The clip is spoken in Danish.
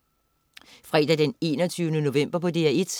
Fredag den 21. november - DR1: